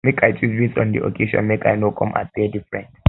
make i choose base on di occasion make i no come appear different